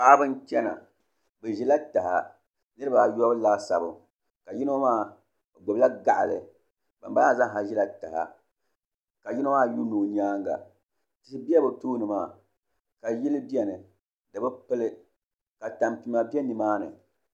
Paɣaba n chɛna bi ʒila taha niraba ayobu laasabu ka yino maa o gbubila gaɣali ban bala maa zaasa ʒila taha ka yino maa yuundi o nyaanga tihi n bɛ bi tooni maa ka yili biɛni di bi pili ka tampima bɛ nimaani